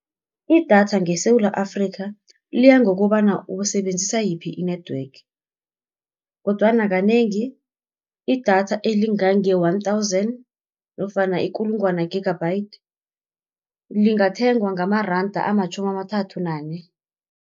Idatha ngeSewula Afrika, liya ngokobana usebenzisa yiphi i-network, kodwana kanengi idatha elingange-one thousand nofana ikulungwana gigabyte lingathengwa ngamaranda amatjhumi amathathu nane.